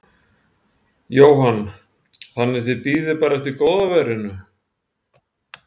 Jóhann: Þannig þið bíðið bara eftir góða veðrinu?